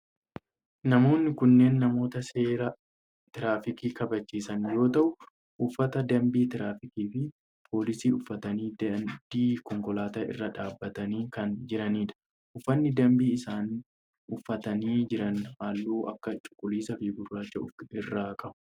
Namoonni kunneen namoota seera tiraafikaa kabachiisan yoo ta'u uffata dambii tiraafikii fi poolisii uffatanii daandii konkolaataa irra dhaabbatanii kan jiranidha. Uffanni dambii isaan uffatanii jiran halluu akka cuquliisaa fi gurraacha of irraa qaba.